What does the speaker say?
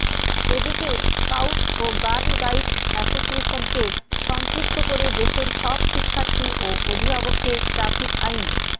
এদিকে স্কাউটস ও girl guides অ্যাসোসিয়েশনকে সম্পৃক্ত করে দেশের সব শিক্ষার্থী ও অভিভাবককে ট্রাফিক আইন